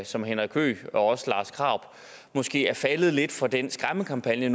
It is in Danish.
som henrik høgh og også lars krarup måske er faldet lidt for den skræmmekampagne